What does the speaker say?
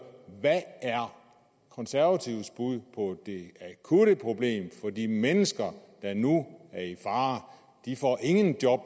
hvad er konservatives bud på det akutte problem for de mennesker der nu er i fare de får ingen job